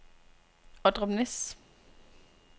Ordrup Næs